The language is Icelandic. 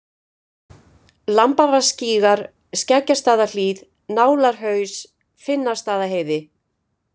Lambavatnsgígar, Skeggjastaðahlíð, Nálarhaus, Finnastaðaheiði